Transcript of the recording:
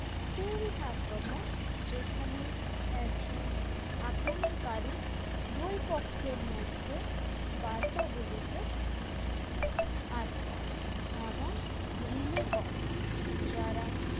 stealth আক্রমণ যেখানে একজন আক্রমণকারী দুই পক্ষের মধ্যে বার্তাগুলিকে আটকায় এবং relay করে যারা